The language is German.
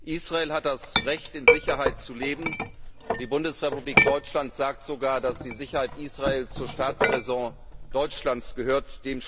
Israel hat das Recht, in Sicherheit zu leben, und die Bundesrepublik Deutschland sagt sogar, dass die Sicherheit Israels zur Staatsraison Deutschlands gehört.